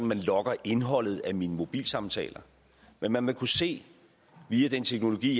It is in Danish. man logger indholdet af mine mobilsamtaler men man vil kunne se via den teknologi